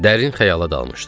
Dərin xəyala dalmışdım.